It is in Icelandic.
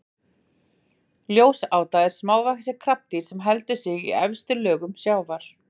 Ljósáta er smávaxið krabbadýr sem heldur sig í efstu lögum sjávar.